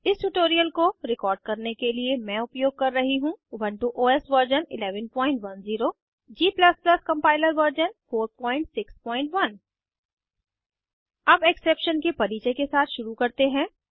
इस ट्यूटोरियल को रिकॉर्ड करने के लिए मैं उपयोग का रही हूँ Ubuntu OS version 1110 g compiler version 461 अब एक्सेप्शन के परिचय के साथ शुरू करते हैं